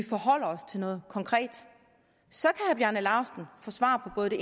forholde os til noget konkret så kan herre bjarne laustsen få svar på både det